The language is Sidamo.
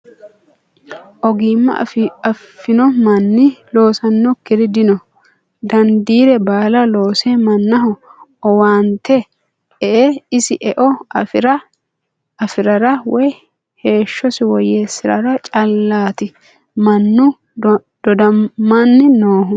Ogima afi'no manni loosanokkiri dino dandiire baalla loose mannaho owaante ee isi eo afirara woyi heeshshosi woyyeessara callati mannu dodamani noohu.